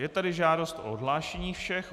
Je tady žádost o odhlášení všech.